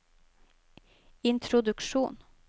introduksjon